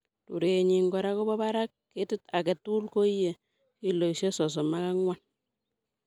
Rurenyin kora kobo barak. Ketit agetugul koiye kiloisiek sosom ok angwan.